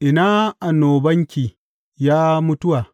Ina annobanki, ya mutuwa?